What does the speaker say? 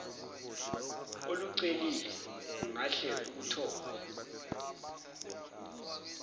olucelile ungahle ukuthole